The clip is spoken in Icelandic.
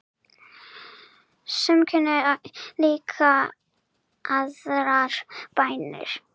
Sum kunna líka aðrar bænir.